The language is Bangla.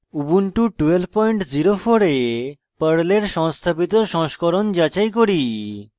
ubuntu 1204 এ পর্লের সংস্থাপিত সংস্করণ যাচাই করি